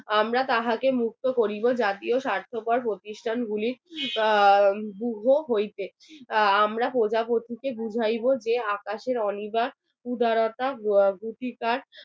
আমরা তাহাকে মুক্ত করব যাতে স্বার্থপর প্রতিষ্ঠান গুলির আহ হইতে আমরা প্রজাপতি বুজাইব যে আকাশের অনিবার উদারতা